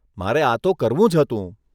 મારે આ તો કરવું જ હતું.